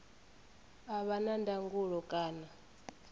a vha na ndangulo kana